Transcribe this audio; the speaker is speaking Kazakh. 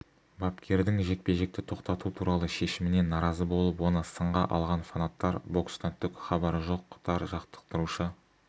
бапкердің жекпе-жекті тоқтату туралы шешіміне наразы болып оны сынға алған фанаттар бокстан түк хабары жоқтар жаттықтырушы